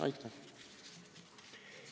Aitäh!